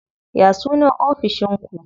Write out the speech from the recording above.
Ya sunan ofishin ku?